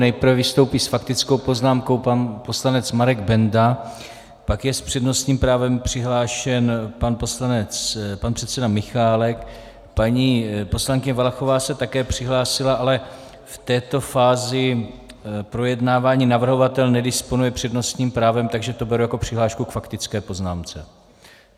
Nejprve vystoupí s faktickou poznámkou pan poslanec Marek Benda, pak je s přednostním právem přihlášen pan předseda Michálek, paní poslankyně Valachová se také přihlásila, ale v této fázi projednávání navrhovatel nedisponuje přednostním právem, takže to beru jako přihlášku k faktické poznámce.